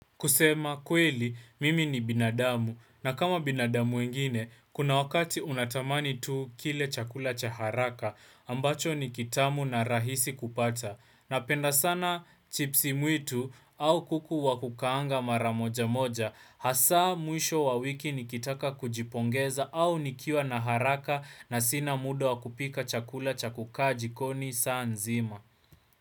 Kusema kweli, mimi ni binadamu. Na kama binadamu wengine, kuna wakati unatamani tu kile chakula cha haraka ambacho ni kitamu na rahisi kupata. Napenda sana chipsi mwitu au kuku wa kukaanga mara moja moja. Hasa mwisho wa wiki nikitaka kujipongeza au nikiwa na haraka na sina muda wa kupika chakula cha kukaa jikoni saa nzima.